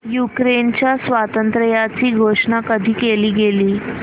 युक्रेनच्या स्वातंत्र्याची घोषणा कधी केली गेली